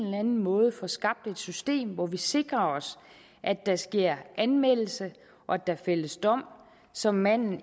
anden måde får skabt et system hvor vi sikrer os at der sker anmeldelse og at der fældes dom så manden